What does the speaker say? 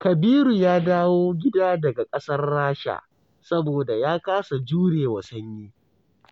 Kabiru ya dawo gida daga ƙasar Rasha, saboda ya kasa jurewa sanyi.